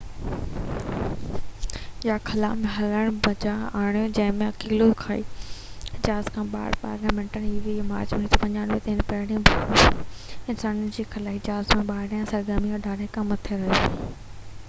18 مارچ 1995 تي، هن پهريون ڀيرو انسانن جي خلائي جهاز جي ٻاهريان سرگرمي eva يا خلا ۾ هلڻ بجاءِ آڻيو، جنهن ۾ هي اڪيلو خلائي جهاز کان ٻاهر 12 منٽن کان مٿي رهيو